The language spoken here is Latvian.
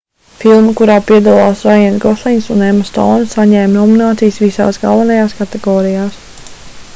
filma kurā piedalās raiens goslings un emma stouna saņēma nominācijas visās galvenajās kategorijās